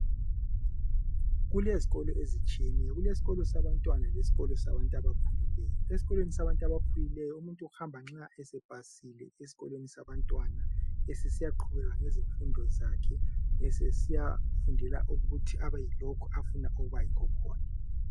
Kulezikolo ezitshiyeneyo, kulesikolo sabantwana leskolo sabantu abakhulileyo , esikolweni sabakhulileyo umuntu uhamba nxa sepasile esikolweni sabantwana sesiyaqhubeka ngezifundo zakhe sesiya fundela ukuthi abe yilokho afuna ukuba yikhokhona